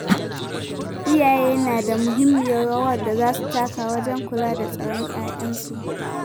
Iyaye na da muhimmiyar rawar da za su taka wajen kula da tsaron 'ya'yansu.